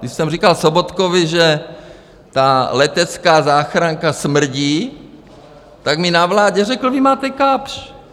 Když jsem říkal Sobotkovi, že ta letecká záchranka smrdí, tak mi na vládě řekl, vy máte Kapsch.